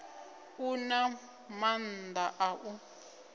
u na maanḓa a u